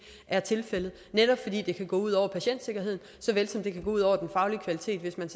er tilfældet netop fordi det kan gå ud over patientsikkerheden såvel som det kan gå ud over den faglige kvalitet hvis man